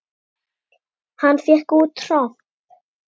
Hann fékk út tromp.